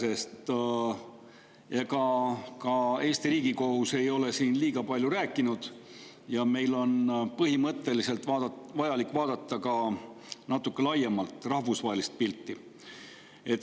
Ega ka Eesti Riigikohus ei ole siin liiga palju rääkinud ja meil on põhimõtteliselt vajalik vaadata ka natuke laiemat, rahvusvahelist pilti.